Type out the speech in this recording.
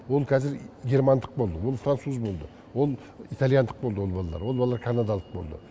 ол қазір германдық болды ол француз болды ол итальяндық болды ол балалар ол балалар канадалық болды